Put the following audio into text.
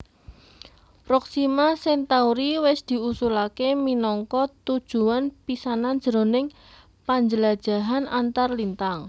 Proxima Centauri wis diusulaké minangka tujuwan pisanan jroning panjlajahan antarlintang